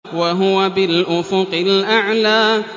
وَهُوَ بِالْأُفُقِ الْأَعْلَىٰ